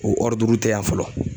O ɔriduru te yan fɔlɔ